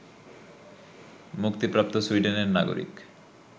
মুক্তিপ্রাপ্ত সুইডেনের নাগরিক